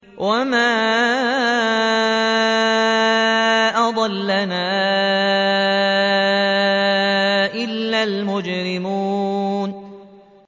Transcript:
وَمَا أَضَلَّنَا إِلَّا الْمُجْرِمُونَ